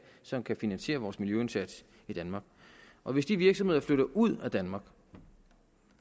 som kan finansiere vores miljøindsats i danmark og hvis de virksomheder flytter ud af danmark